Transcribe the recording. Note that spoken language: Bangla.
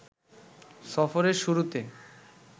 সফরের শুরুতে